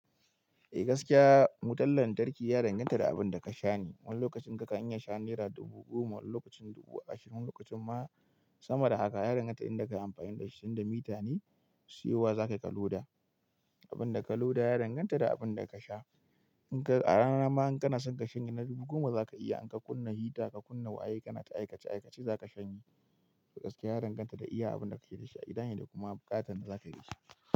Eh gaskiya, wutan lantarki ya danganta da abinda kasha ne. Wani lokacin ka kan iya sha nera dubu goma, wani lokacin dubu ashirin, wani lokacin ma sama da haka. Ya danganta inda kayi amfani da shi, tinda mita ne siyo wa za kayi ka loda. Abinda ka loda ya danganta da abinda kasha. In ka, a rana ma in kana son kashanye na dubu goma za ka iya. In ka kunna hita, ka kunna waye, kana ta aikace aikace zaka sha ni. To gaskiya ya danganta da iya abinda kake da shi a gidane da kuma buƙatan da zakai dashi.